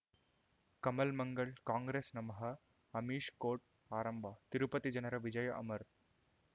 ಕಮಲ್ ಮಂಗಳ್ ಕಾಂಗ್ರೆಸ್ ನಮಃ ಅಮಿಷ್ ಕೋರ್ಟ್ ಆರಂಭ ತಿರುಪತಿ ಜನರ ವಿಜಯ ಅಮರ್